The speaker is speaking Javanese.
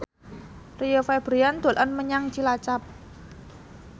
Rio Febrian dolan menyang Cilacap